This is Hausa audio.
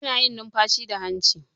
Ana yin numfashi da hanci.